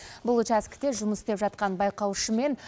бұл учаскіде жұмыс істеп жатқан байқаушы мен